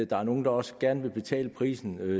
der er nogle der også gerne vil betale prisen